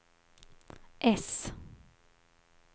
äss